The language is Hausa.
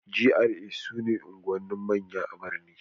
GRA' su ne unguwannin manya a birni